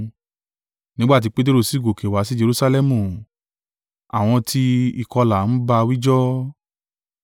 Nígbà tí Peteru sì gòkè wá sí Jerusalẹmu, àwọn ti ìkọlà ń bá a wíjọ́